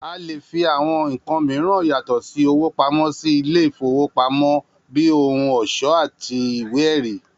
A lè fi àwo̩n nǹkan mìíràn yàtò̩ sí owó pamó̩ sílé ìfowópamó̩ bí i ohun ò̩s̩ó̩ àti ìwé è̩rí